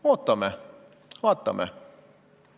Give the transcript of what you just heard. Ootame, vaatame.